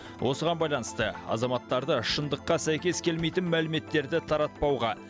осыған байланысты азаматтарды шындыққа сәйкес келмейтін мәліметтерді таратпауға